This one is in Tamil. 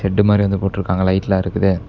செட்டு மாரி வந்து போட்டுருக்காங்க லைட்லா இருக்குதே.